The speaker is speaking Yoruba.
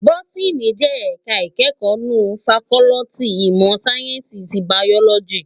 Bótìní jè èká ikèékò mnú fàkòlìtí imò sáyènsí ti báyólòjí